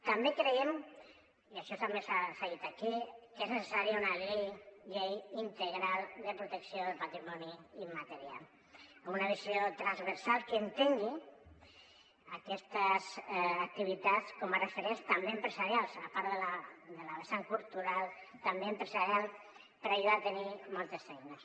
també creiem i això també s’ha dit aquí que és necessària una llei integral de protecció del patrimoni immaterial amb una visió transversal que entengui aquestes activitats com a referents també empresarials a part de la vessant cultural també empresarial per ajudar a tenir moltes eines